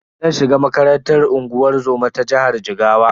Zan shiga makarantar unguwar zoma ta jihar Jigawa.